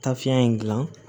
Tafiɲɛ in gilan